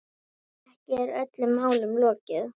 Ekki er öllum málum lokið.